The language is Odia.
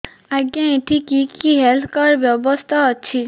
ଆଜ୍ଞା ଏଠି କି କି ହେଲ୍ଥ କାର୍ଡ ବ୍ୟବସ୍ଥା ଅଛି